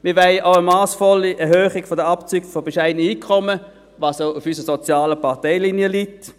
Wir wollen eine massvolle Erhöhung der Abzüge von bescheidenen Einkommen, was auch auf unserer sozialen Parteilinie liegt.